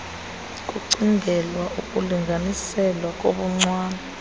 kucingelwa ukulinganiselwa kobuncwane